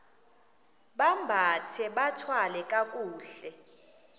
bambathe bathwale kakuhle